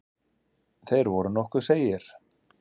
Þeir voru nokkuð seigir.